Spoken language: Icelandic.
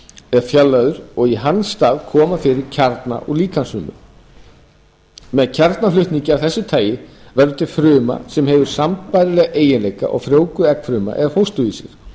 er fjarlægður og í hans stað komið fyrir kjarna úr líkamsfrumu með kjarnaflutningi af þessu tagi veldur fruma sem hefur sambærilega eiginleika og frjóvguð eggfruma eða fósturvísir